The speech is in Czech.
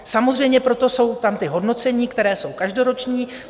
Samozřejmě proto jsou tam ta hodnocení, která jsou každoroční.